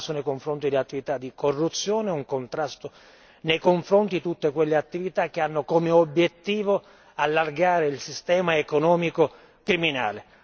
Un contrasto nei confronti delle attività di corruzione e un contrasto nei confronti di tutte quelle attività che hanno come obiettivo di allargare il sistema economico criminale.